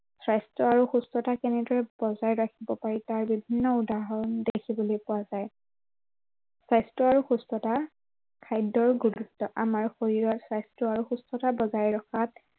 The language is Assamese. স্বাস্থ্য় আৰু সুস্থতা কেনেদৰে বজাই ৰাখিব পাৰি তাৰ বিভিন্ন উদাহৰণ দেখিবলৈ পোৱা যায়। স্বাস্থ্য় আৰু সুস্থতা, খাদ্য় আৰু গুৰুত্ব আমাৰ শৰীৰত স্বাস্থ্য় আৰু সুস্থতা বজাই ৰখাত